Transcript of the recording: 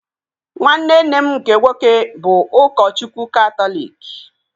Nwanne nne m nke nwoke bụ ụkọchukwu katọliki